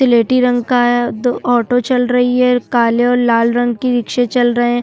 सिलेटी रंग का है दो ऑटो चल रही है काले और लाल रंग की रिक्शे चल रहे है।